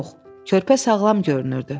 Yox, körpə sağlam görünürdü.